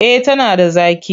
Eh tana da zaƙi.